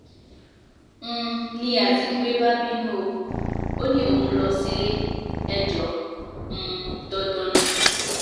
um n ní azikiwe bá bínú o ò ní òún ń lọ sílé-ẹjọ́ um dandan ni